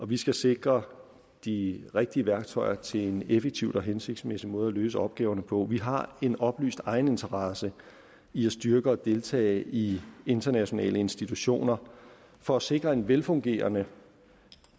vi skal sikre de rigtige værktøjer til en effektiv og hensigtsmæssig måde at løse opgaverne på vi har en oplyst egeninteresse i at styrke og deltage i internationale institutioner for at sikre en velfungerende